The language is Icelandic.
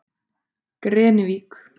Grenivík